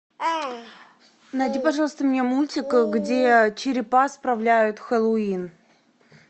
найди пожалуйста мне мультик где черепа справляют хэллоуин